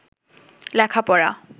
লেখাপড়া